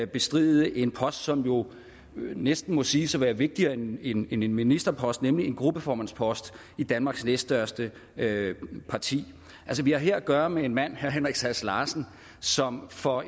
bestride en post som jo næsten må siges at være vigtigere end en end en ministerpost nemlig en gruppeformandspost i danmarks næststørste parti vi har her at gøre med en mand herre henrik sass larsen som for